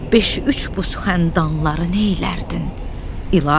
Beş-üç buzxəndanları neylərdin, İlahi?